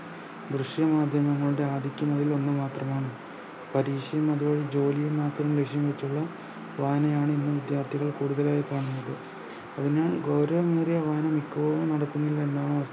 ദൃശ്യമാധ്യമങ്ങളുടെ ആദിത്യം അതിൽ ഒന്നുമാത്രമാണ് പരീക്ഷയും അതുപോലെ ജോലിയും മാത്രം ലഷ്യം വെച്ചുള്ള വായനയാണ് ഇന്ന് വിദ്യാർത്ഥികളിൽ കൂടുതലായും കാണുന്നത് അതിനാൽ ഗൗരവമേറിയ വായന ഇപ്പോഴും നടക്കുന്നില്ല എന്നാണ്